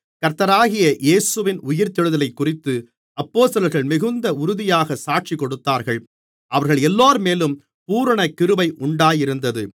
கர்த்தராகிய இயேசுவின் உயிர்த்தெழுதலைக்குறித்து அப்போஸ்தலர்கள் மிகுந்த உறுதியாக சாட்சிகொடுத்தார்கள் அவர்களெல்லோர்மேலும் பூரணகிருபை உண்டாயிருந்தது